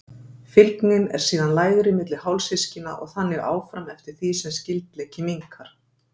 Fylgnin er síðan lægri milli hálfsystkina og þannig áfram eftir því sem skyldleiki minnkar.